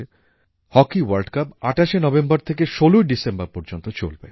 hockey world cup ২৮শে November থেকে ১৬ই ডিসেম্বর পর্যন্ত চলবে